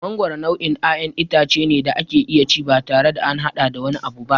Mangoro nau'in ƴaƴan itace ne da ake iya ci batare da an haɗa da wani abu ba.